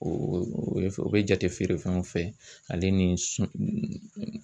o bɛ jate feere fɛnw fɛ ale ni